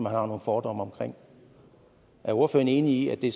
har nogle fordomme omkring er ordføreren enig i at det